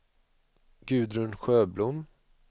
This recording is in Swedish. Gudrun Sjöblom